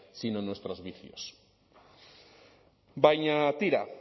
sino en nuestros vicios baina tira